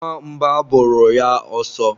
nwa mba bụrụ ya asọ